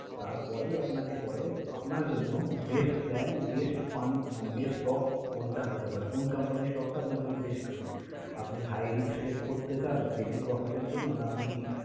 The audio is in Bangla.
তারপরেই আপনাকে বলে যে আপনার জন্য best plan, best fund মানে best stock কোনটা হতে পারে, কোন company stock টা আপনার জন্য best হবে, আপনি high risk take করতে চান বেশি profit এর জন্য না আপনি